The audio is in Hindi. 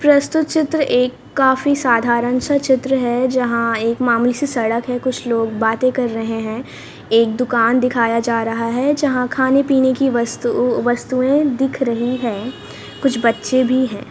प्रस्तुत चित्र एक काफी साधारण सा चित्र है जहां एक मामूली सी सड़क है कुछ लोग बातें कर रहे हैं एक दुकान दिखाया जा रहा है जहां खाने-पीने की वस्तु वस्तुएं दिख रही है कुछ बच्चे भी हैं।